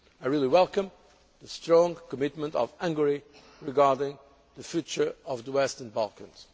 region. I really welcome the strong commitment of Hungary regarding the future of the Western Balkans.